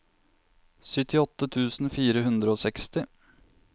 syttiåtte tusen fire hundre og seksti